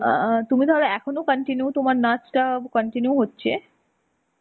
আ তুমি তাহলে এখনো continue তোমার নাচটা continue হচ্ছে?